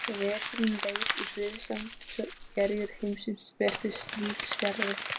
Veturinn leið í friðsemd svo erjur heimsins virtust víðsfjarri.